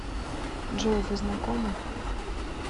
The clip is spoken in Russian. джой вы знакомы